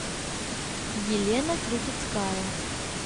елена крутицкая